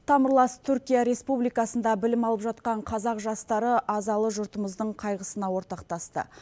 тамырлас түркия республикасында білім алып жатқан қазақ жастары азалы жұртымыздың қайғысына ортақтасты